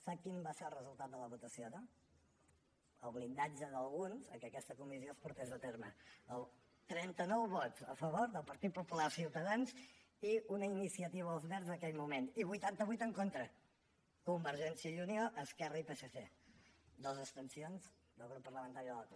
sap quin va ser el resultat de la votació no el blindatge d’alguns al fet que aquesta comissió es portés a terme trenta nou vots a favor del partit popular ciutadans i una iniciativa verds en aquell moment i vuitanta vuit en contra convergència i unió esquerra i psc i dos abstencions del grup parlamentari de la cup